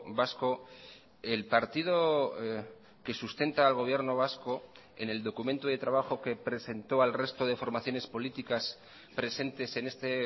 vasco el partido que sustenta al gobierno vasco en el documento de trabajo que presentó al resto de formaciones políticas presentes en este